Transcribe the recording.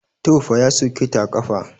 Tofa ya soke ta a ƙafa.